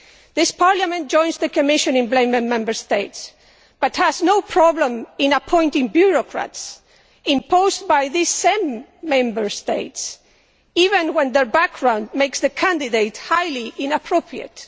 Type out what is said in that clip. This Parliament joins the Commission in blaming Member States, but has no problem in appointing bureaucrats, imposed by these same Member States, even when their background makes the candidate highly inappropriate.